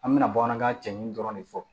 An bɛna bamanankan cɛɲi dɔrɔn de fɔ